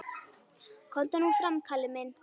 Komdu nú fram, Kalli minn!